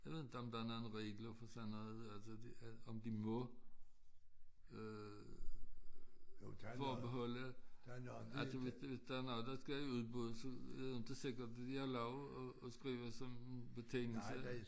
Jeg ved inte om der er nogle regler for sådan noget altså de om de må øh forbeholde altså hvis hvis der er noget der skal i udbud så er det inte sikkert de har lov at at skrive sådan betingelse